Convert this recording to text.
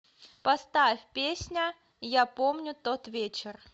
поставь песня я помню тот вечер